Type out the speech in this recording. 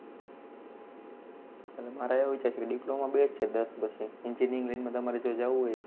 એટલા મારો એવો વિચાર છે, diploma best છે, દસ પછી engineering line માં તમારે જાવું હોઈ તો,